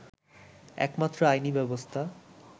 একমাত্র আইনি ব্যবস্থা